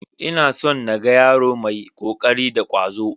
Ina son na ga yaro mai ƙoƙari da ƙwazo.